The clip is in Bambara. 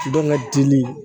Dɔnkɛ dili.